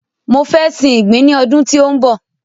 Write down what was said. Mọ fẹ sin ìgbín ní ọdún tí ó ń bọ̀.